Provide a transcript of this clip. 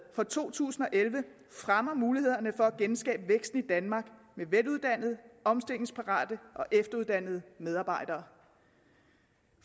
for to tusind og elleve fremmer mulighederne for at genskabe væksten i danmark med veluddannede omstillingsparate og efteruddannede medarbejdere